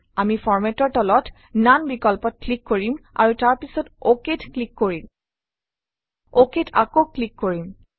আমি Format অৰ তলত ননে বিকল্পত ক্লিক কৰিম আৰু তাৰ পাছত OK ত ক্লিক কৰিম OK ত আকৌ ক্লিক কৰিম